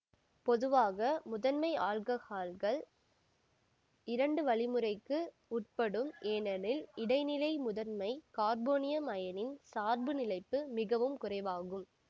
பொதுவாக முதன்மை ஆல்ககால்கள் இரண்டு வழிமுறைக்கு உட்படும் ஏனெனில் இடைநிலை முதன்மை கார்போனியம் அயனியின் சார்பு நிலைப்பு மிகவும் குறைவாகும்